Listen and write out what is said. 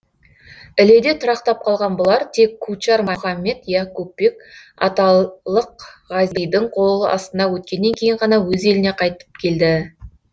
іледе тұрақтап қалған бұлар тек кучар мұхаммед яқупбек аталық ғазидің қол астына өткеннен кейін ғана өз еліне қайтып келді